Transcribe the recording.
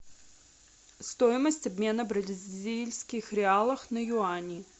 стоимость обмена бразильских реалов на юани